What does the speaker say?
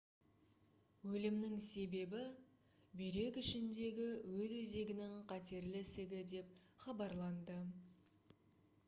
өлімнің себебі бүйрек ішіндегі өт өзегінің қатерлі ісігі деп хабарланды